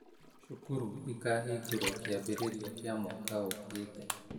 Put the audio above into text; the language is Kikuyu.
Cukuru ĩkahingũrũo kĩambĩrĩria kĩa mwaka ũũkĩte